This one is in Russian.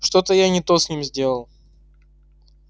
что-то я не то с ним сделал